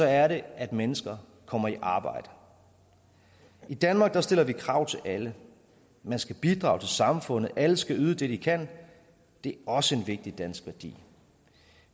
er det at mennesker kommer i arbejde i danmark stiller vi krav til alle man skal bidrage til samfundet og alle skal yde det de kan det er også en vigtig dansk værdi